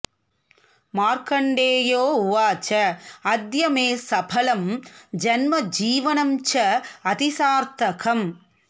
मार्कण्डेयो उवाच अद्य मे सफलं जन्म जीवनं चातिसार्थकम्